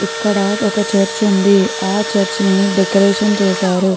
ఇక్కడ ఒక చర్చి ఉంది ఆ చర్చి ని డెకొరేషన్ చేసారు .